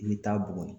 I bɛ taa buguni